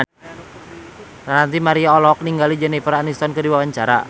Ranty Maria olohok ningali Jennifer Aniston keur diwawancara